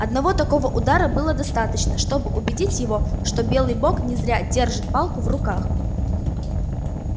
одного такого удара было достаточно чтобы убедить его что белый бог не зря держит палку в руках